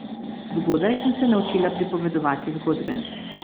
Zgodaj sem se naučila pripovedovati zgodbe.